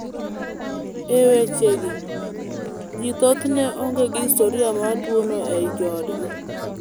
E wechegi, ji thothne onge gi historia mar tuwono e joodgi.